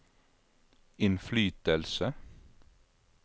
innflytelse